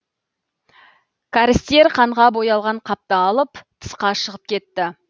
кәрістер қанға боялған қапты алып тысқа шығып кетті